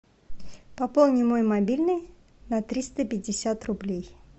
пополни мой мобильный на триста пятьдесят рублей